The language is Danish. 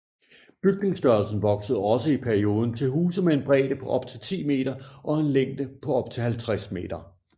Bygningsstørrelsen voksede også perioden til huse med en bredde på op til 10m og en længde på op til 50m